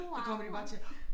Så kommer de bare og siger